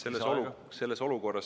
Kolm minutit lisaaega.